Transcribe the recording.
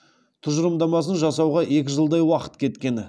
тұжырымдамасын жасауға екі жылдай уақыт кеткен